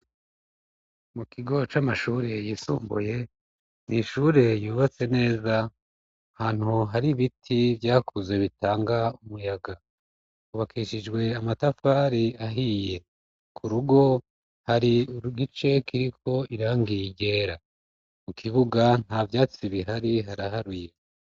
mu kigo c'amashuri yisumbuye n'ishure yubatse neza hantu hari biti byakuze bitanga umuyaga hubakishijwe amatafari ahiye ku rugo hari igice kiriko irangi ryera mu kibuga nta byatsi bihari haraharuye